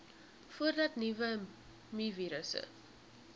voordat nuwe mivirusse